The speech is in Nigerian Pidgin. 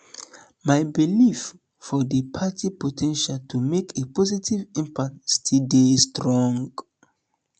my belief for di party po ten tial to make a positive impact still dey strong